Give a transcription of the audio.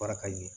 Fara ka ɲɛ